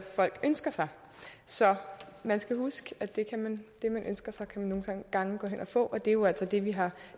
folk ønsker sig så man skal huske at det man ønsker sig kan man nogle gange gå hen og få og det er jo altså det vi har